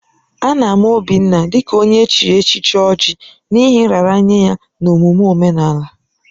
A na-ama Obinna dị ka onye echiri echichi Oji n'ihi nraranye ya n'omume omenala.